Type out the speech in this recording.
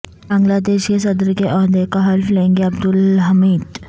بنگلہ دیش کے صدر کے عہدہ کا حلف لیں گے عبدالحمید